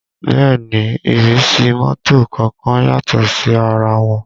Bẹ́ẹ̀ ni ìrísí mọ́tò kọ̀ọ̀kan yàtọ̀ sí ara wọn